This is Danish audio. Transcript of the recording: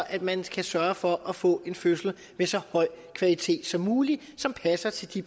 at man kan sørge for at få en fødsel med så høj kvalitet som muligt som passer til de